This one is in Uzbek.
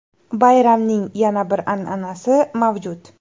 Bayramning yana bir an’anasi mavjud.